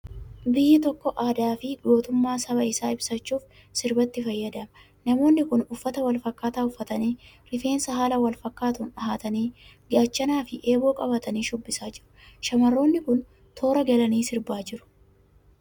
Biyyi tokko aadaa fi gootumma saba isaa ibsachuuf sirbatti fayyadama. Namoonni kun uffata wal fakkaataa uffatanii, rifeens haala fakkaatuun dhahatanii, gaachanaa fi eeboo qabatanii shubbisaa jiru. Shamarroonni kun toora galanii sirbaa jiru.